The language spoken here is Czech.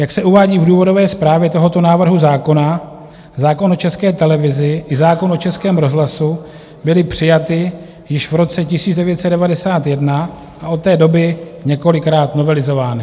Jak se uvádí v důvodové zprávě tohoto návrhu zákona, zákon o České televizi i zákon o Českém rozhlasu byly přijaty již v roce 1991 a od té doby několikrát novelizovány.